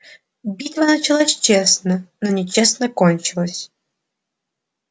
битва началась честно но нечестно кончилась